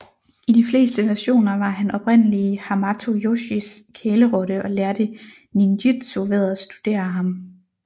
I de fleste versioner var han oprindelige Hamato Yoshis kælerotte og lærte ninjitsu ved at studere ham